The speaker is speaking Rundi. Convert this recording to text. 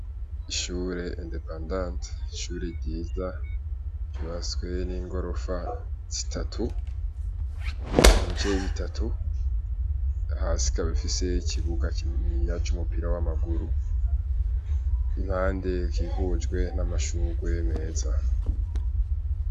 Ishure indepandanti ishure ryiza vyuba swe n'ingorofa zitatu ibijayi bitatu hasika bifise ikibuga ninya c'umupira w'amaguru impande gihujwe n'amashugue meza.